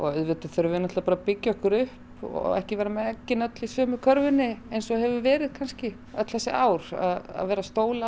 auðvitað þurfum við bara að byggja okkur upp og ekki vera með eggin öll í sömu körfunni eins og hefur verið kannski öll þessi ár að vera að stóla